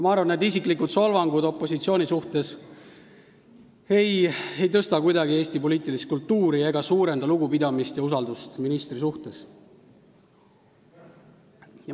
Ma arvan, et need isiklikud solvangud opositsiooni suhtes ei paranda kuidagi Eesti poliitilist kultuuri ega suurenda lugupidamist või usaldust ministri vastu.